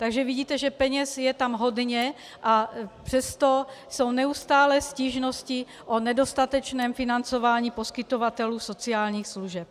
Takže vidíte, že peněz je tam hodně, a přesto jsou neustále stížnosti o nedostatečném financování poskytovatelů sociálních služeb.